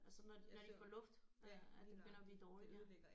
Altså når de når de får luft øh at det begynder at blive dårligt ja